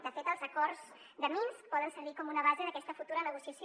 de fet els acords de minsk poden servir com una base d’aquesta futura negociació